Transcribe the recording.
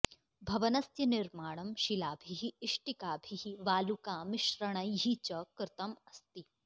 भवनस्य निर्माणं शिलाभिः इष्टिकाभिः वालुकामिश्रणैः च कृतम् अस्ति